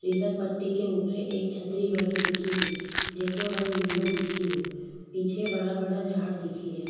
फिसल पट्टी के ऊपरे एक छतरी बनी दिखेरी जिको रंग निळौ दिखे रो पीछे बड़ा बड़ा झाड़ दिखे रिया।